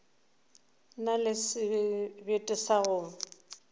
na le sebete sa go